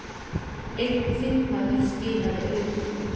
Einn þingmaður skilaði auðu